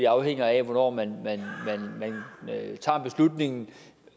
afhænger af hvornår man tager beslutningen